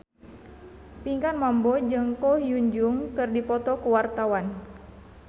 Pinkan Mambo jeung Ko Hyun Jung keur dipoto ku wartawan